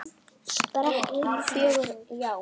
Spræk og fjörug, já.